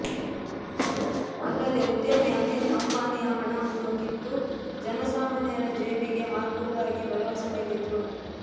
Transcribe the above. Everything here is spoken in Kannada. ಅಲ್ಲದೆ ಉದ್ಯಮಿ ಅನಿಲ್ ಅಂಬಾನಿಯ ಹಣವನ್ನು ಕಿತ್ತು ಜನಸಾಮಾನ್ಯರ ಜೇಬಿಗೆ ಹಾಕುವುದಾಗಿ ಭರವಸೆ ನೀಡಿದರು